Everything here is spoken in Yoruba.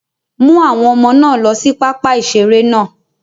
Mú àwọn Ọmọ náà lọ sí pápá ìṣeré náà